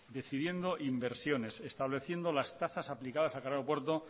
decidiendo inversiones estableciendo las tasas aplicadas a cada aeropuerto